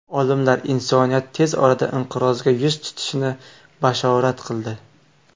Olimlar insoniyat tez orada inqirozga yuz tutishini bashorat qildi.